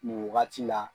Nin wagati la